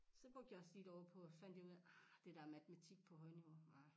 Så brugte jeg også lige et år på og fandt jeg ud af ah det der matematik på højniveau ah